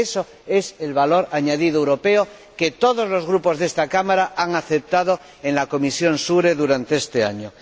Eso es el valor añadido europeo que todos los grupos de esta Cámara han aceptado en la Comisión SURE durante este año.